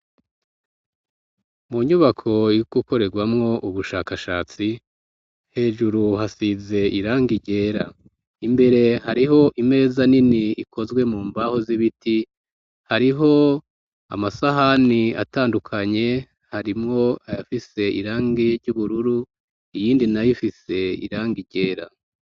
Mu nyubako yo gukoreramwo ubushakashatsi hejuru hasize irangi ryera imbere hariho imeza nini ikozwe mu mbaho z'ibiti hariho amasahani atandukanye harimwo ayafise irangi ry'ubururu iyindi nayifise iranga ryera.